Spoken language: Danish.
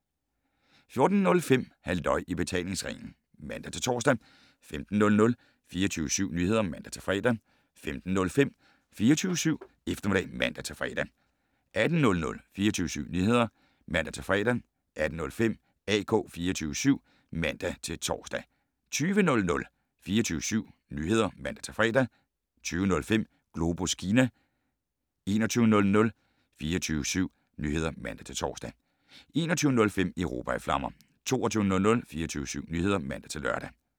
14:05: Halløj i betalingsringen (man-tor) 15:00: 24syv Nyheder (man-fre) 15:05: 24syv Eftermiddag (man-fre) 18:00: 24syv Nyheder (man-fre) 18:05: AK 24syv (man-tor) 20:00: 24syv Nyheder (man-fre) 20:05: Globus Kina 21:00: 24syv Nyheder (man-tor) 21:05: Europa i flammer 22:00: 24syv Nyheder (man-lør)